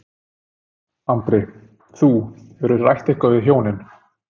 Andri: Þú, hefurðu rætt eitthvað við hjónin?